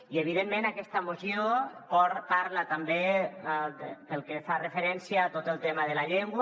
i evidentment aquesta moció parla també del que fa referència a tot el tema de la llengua